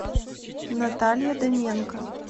наталья дыменко